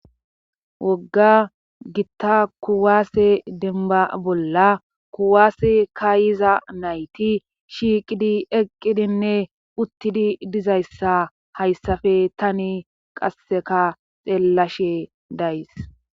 Wogga gitta kuwaase denba bolla kuwaase kaayiza nayti shiiqidi eqqidinne uttidi dizayssa hayssafe tani qasseka xeellashe days